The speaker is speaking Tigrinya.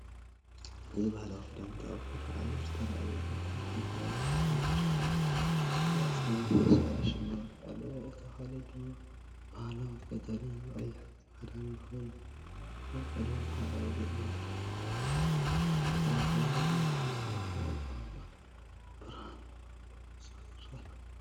እዚ ባህላዊ ክዳውንቲ ኣብ ቅሉዕ ኣየር ተራእዩ። እታ ሓንቲ ቀይሕን ኣራንሺን ቅርጺን ኣብ ክሳዳ ሽልማትን ኣለዎ። እታ ካልእ ድማ ባህላዊ ቀጠልያን ቀይሕን ክዳን ኮይኑ፡ኣብ ቅልጽማ ሕብራዊ ጌጽ ዘለዋ እዩ። ተፈጥሮኣዊ ከባቢን ኣብ ድሕሪት ዝርከቡ ኣግራብን ኣብ ብርሃንብንጹር ይረኣዩ።